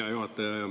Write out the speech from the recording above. Hea juhataja!